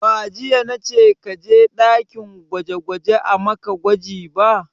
Ba jiya na ce ka je ɗakin gwaje gwaje a maka gwaji ba!